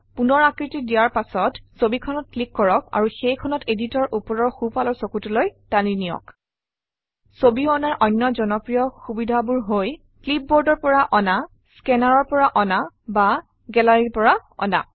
পুনৰ আকৃতি দিয়াৰ পাছত ছবিখনত ক্লিক কৰক আৰু সেইখনক editor অৰ ওপৰৰ সোঁফালৰ চুকটোলৈ টানি নিয়ক ছবি অনাৰ অন্য জনপ্ৰিয় সুবিধাবোৰ হৈ ক্লিপবৰ্ডৰ পৰা অনা স্কেনাৰৰ পৰা অনা বা গেলাৰীৰ পৰা অনা